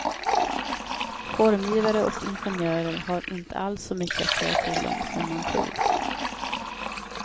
Formgivare och ingenjörer har inte alls så mycket att säga till om som man tror.